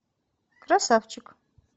красавчик